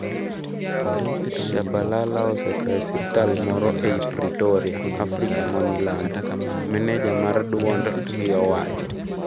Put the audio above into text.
Shabalala osetho e osiptal moro ei Pitoria, Afrika ma Milambo, meneja mar duond gi owacho.